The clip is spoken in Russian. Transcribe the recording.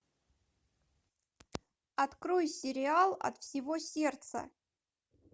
открой сериал от всего сердца